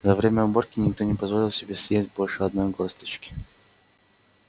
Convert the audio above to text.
за время уборки никто не позволил себе съесть больше одной горсточки